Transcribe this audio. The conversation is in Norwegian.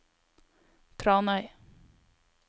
Tranøy